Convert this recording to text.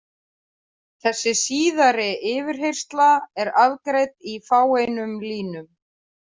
Þessi síðari yfirheyrsla er afgreidd í fáeinum línum.